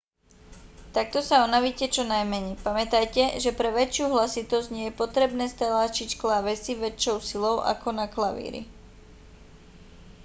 takto sa unavíte čo najmenej pamätajte že pre väčšiu hlasitosť nie je potrebné stlačiť klávesy väčšou silou ako na klavíri